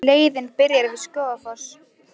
Leiðin byrjar við Skógafoss.